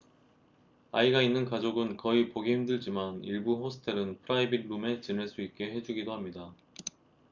아이가 있는 가족은 거의 보기 힘들지만 일부 호스텔은 프라이빗 룸에 지낼 수 있게 해주기도 합니다